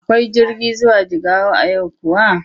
Akwai jirgi zuwa Jigawa a yau kuwa?